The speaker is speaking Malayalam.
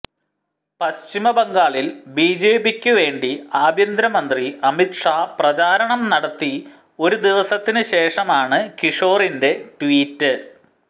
പശ്ചിമബംഗാളിൽ ബിജെപിക്ക് വേണ്ടി ആഭ്യന്തരമന്ത്രി അമിത് ഷാ പ്രചാരണം നടത്തി ഒരു ദിവസത്തിന് ശേഷമാണ് കിഷോറിന്റെ ട്വീറ്റ്